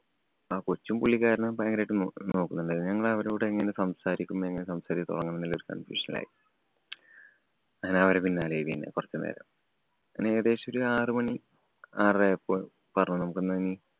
ആ കൊച്ചും, പുള്ളിക്കാരനും ഭയങ്കരമായിട്ട് നോക്കുന്നുണ്ടായിരുന്നു. ഞങ്ങള്‍ അവരോടു എങ്ങനെ സംസാരിക്കും, എങ്ങനെ സംസാരിക്കാന്‍ തൊടങ്ങും എന്നൊരു confusion ആയി. അങ്ങനെ അവരുടെ പിന്നാലെ ആയി പിന്നെ കൊറച്ച് നേരം. അങ്ങനെ ഏകദേശം ഒരു ആറുമണി ആറര ആയപ്പോള്‍ പറഞ്ഞു. നമുക്ക് ന്നാ ഇനി